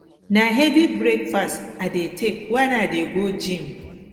na heavy breakfast i dey take when i dey go gym